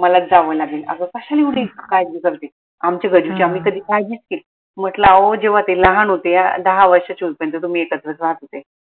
मलाच जावं लागेल आग कश्याला एवढी काळजी करते आमच्या गजूची आम्ही कधी काळजीच केली नाई म्हंटल आहो जेव्हा ते लहान होते दहा वर्षाचे होत पर्यंत तुम्ही एकत्रच राहात होते